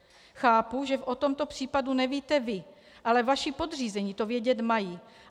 Chápu, že o tomto případu nevíte vy, ale vaši podřízení to vědět mají.